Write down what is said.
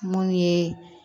Mun ye